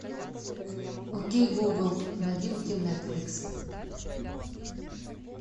окей гугл новинки нетфликс